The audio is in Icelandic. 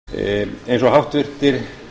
eins og háttvirtir